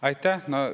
Aitäh!